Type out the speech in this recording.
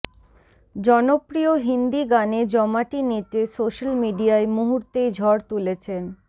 জনপ্রিয় হিন্দি গানে জমাটি নেচে সোশ্যাল মিডিয়ায় মুহূর্তেই ঝড় তুলেছেন